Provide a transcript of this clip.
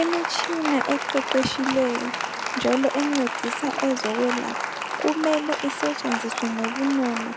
Imitshina eqeqetshileyo njalo encedisa ezokwelapha kumele isetshenziswe ngobunono